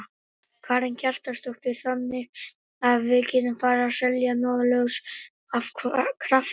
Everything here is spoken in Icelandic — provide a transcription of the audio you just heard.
Karen Kjartansdóttir: Þannig að við getum farið að selja norðurljós af krafti?